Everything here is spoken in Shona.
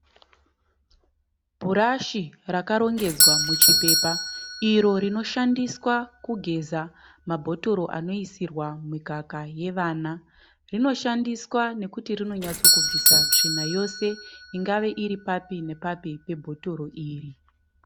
Bhurashi rakarongedzwa muchipepa iro rinoshandiswa kugeza mabhotoro anoiswa mikaka yevana. Rinoshandiswa nekuti rinyotsobvisa tsvina yose ingava papi nepapi pebhotoro iri.